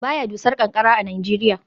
Ba ya dusar ƙanƙara a Najeriya